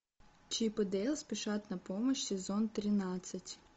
чип и дейл спешат на помощь сезон тринадцать